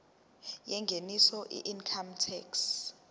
yengeniso weincome tax